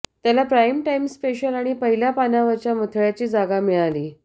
त्याला prime time special आणि पहिल्या पानावरच्या मथळ्याची जागा मिळाली